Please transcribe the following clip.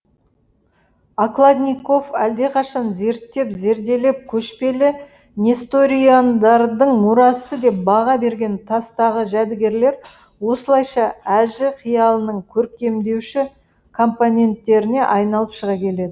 окладников әлдеқашан зерттеп зерделеп көшпелі несториандардың мұрасы деп баға берген тастағы жәдігерлер осылайша әжі қиялының көркемдеуші компоненттеріне айналып шыға келеді